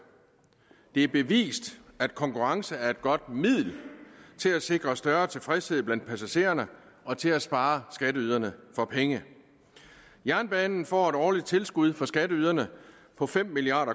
det er bevist at konkurrence er et godt middel til at sikre større tilfredshed blandt passagererne og til at spare skatteyderne for penge jernbanen får et årligt tilskud fra skatteyderne på fem milliard